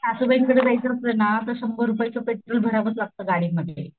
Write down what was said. सासूबाईंकडं जायचं असल ना शंबर रुपयच पेट्रोल भरावंच लागत गाडीमध्ये.